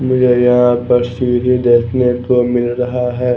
मुझे यहाँ पर सूर्य देखने को मिल रहा है।